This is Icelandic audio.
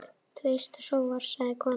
Þú eyst og sóar, sagði konan.